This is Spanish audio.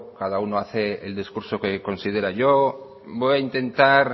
cada uno hace el discurso que considera yo voy a intentar